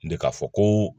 Ne k'a fɔ koo